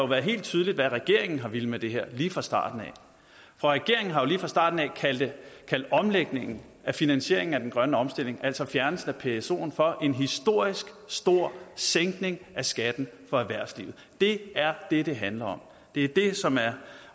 været helt tydeligt hvad regeringen har villet med det her lige fra starten af for regeringen har jo lige fra starten af kaldt omlægningen af finansieringen af den grønne omstilling altså fjernelsen af psoen for en historisk stor sænkning af skatten for erhvervslivet det er det det handler om det er det som er